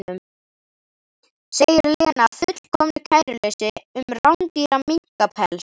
segir Lena af fullkomnu kæruleysi um rándýran minkapels.